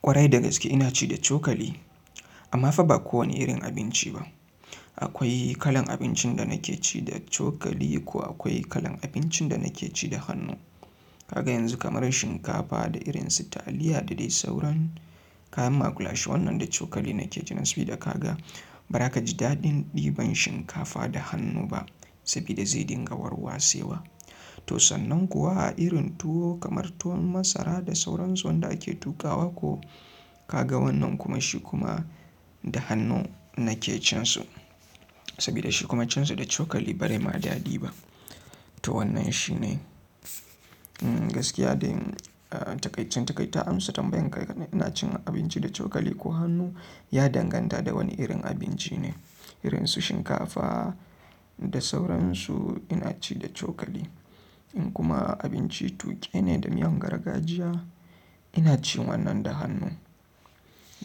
Kwarai da gaske ina ci da cokali amma fa ba kowane irin abinci ba. Akwai kalan abincin da nake ci da cokali ko akwai kalan abincin da nake ci da hannu. Kaga yanzu kamar shinkafa da irin su taliya da dai sauran kayan makulashe wannan da cokali nake ci sabida kaga bara kaji daɗi ɗiban shinkafa da hannu ba sabida zai ɗinga war wasewa to sanan kuwa irin tuwo kamar tuwon masara da sauransu wanda ake tukawa ko kaga wannan kuma shi kuma da hannu nake cin su sabida shi kuma cin su da chokali ba dai ma daɗi ba. To wannan shi ne gaskiya da takaicin takaita amsa tambayan ka yana cin abinci da cokali ko hannu ya danganta da wane irin abinci ne. Irinsu shinkafa da sauransu ina ci da cokali in kuma abinci ina cin wannan da hannu.